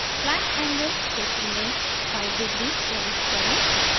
slant angle क्षेत्र में 5 degrees प्रविष्ट करें